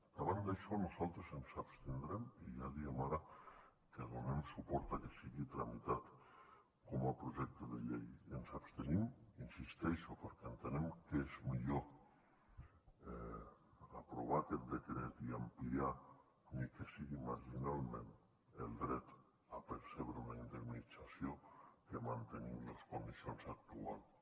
davant d’això nosaltres ens abstindrem i ja diem ara que donem suport a que sigui tramitat com a projecte de llei i ens abstenim hi insisteixo perquè entenem que és millor aprovar aquest decret i ampliar ni que sigui marginalment el dret a percebre una indemnització que mantenir lo en les condicions actuals